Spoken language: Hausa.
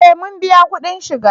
Eh muna biyan kudin shiga